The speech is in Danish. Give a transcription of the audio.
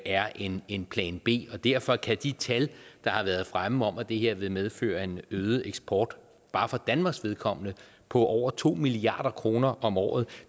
er en en plan b og derfor kan de tal der har været fremme om at det her vil medføre en øget eksport bare for danmarks vedkommende på over to milliard kroner om året